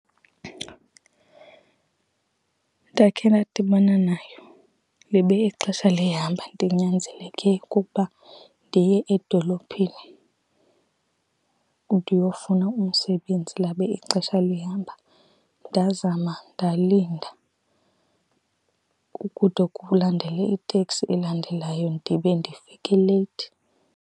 Ndakhe ndadibana nayo, libe ixesha lihamba ndinyanzeleke okokuba ndiye edolophini ndiyofuna umsebenzi labe ixesha lihamba. Ndazama ndalinda kude kulandele iteksi elandelayo, ndibe ndifike leyithi.